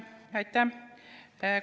Aitäh!